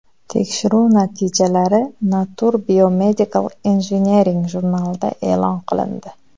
Tekshiruv natijalari Nature Biomedical Engineering jurnalida e’lon qilindi .